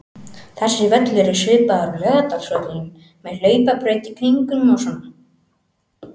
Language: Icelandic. Þessi völlur er svipaður og Laugardalsvöllurinn, með hlaupabraut í kringum og svona.